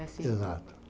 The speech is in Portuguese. Exato.